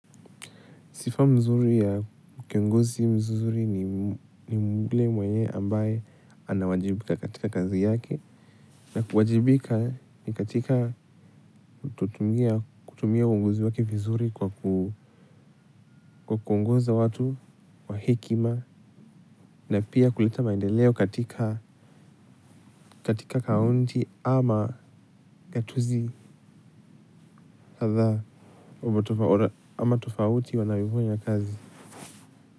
Sifa nzuri ya kiongozi mzuri ni yule mwenye ambaye anawajibika katika kazi yake. Na kuwajibika ni katika kutumia kutumia uongozi wake vizuri kwa kuongoza watu kwa hekima. Na pia kuleta maendeleo katika kaunti ama katuzi kadhaa ama tofauti wanavyofanya kazi.